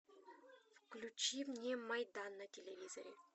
включи мне майдан на телевизоре